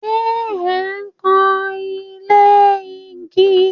Ṣẹ ẹ̀ ń kan ilé igi?